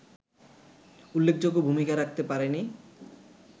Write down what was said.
উল্লেখযোগ্য ভূমিকা রাখতে পারেনি